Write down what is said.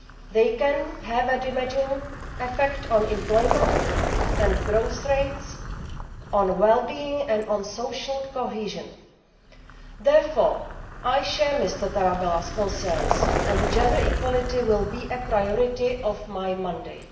They can have a damaging effect on employment and growth rates, on well-being and on social cohesion. Therefore, I share Mr Tarabella's concerns, and gender equality will be a priority of my mandate.